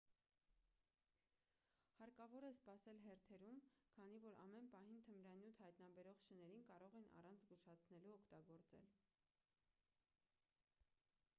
հարկավոր է սպասել հերթերում քանի որ ամեն պահին թմրանյութ հայտնաբերող շներին կարող են առանց զգուշացնելու օգտագործել